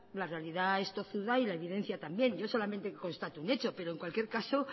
la realidad es tozuda y la evidencia también yo solamente constato un hecho pero en cualquier caso